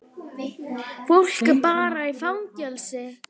Fólk er bara í áfalli.